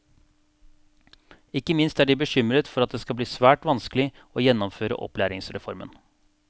Ikke minst er de bekymret for at det blir svært vanskelig å gjennomføre opplæringsreformen.